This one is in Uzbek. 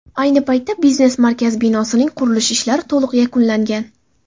Ayni paytda biznes markaz binosining qurilish ishlari to‘liq yakunlangan.